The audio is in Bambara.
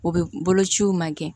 O bɛ bolociw ma kɛ